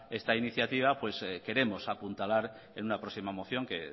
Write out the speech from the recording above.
esta iniciativa pues queremos apuntalar en una próxima moción que